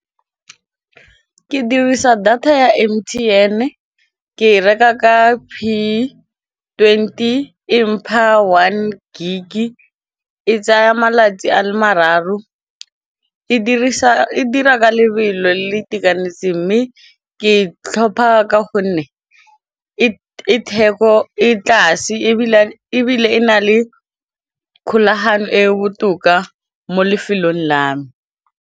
Ke dirisa data ya M_T_N ke e reka ka p twenty e mpha one gig e tsaya malatsi a le mararo, e dira ka lebelo le le itekanetseng mme ke tlhopha ka gonne e theko e tlase ebile e na le kgolagano e botoka mo lefelong la me.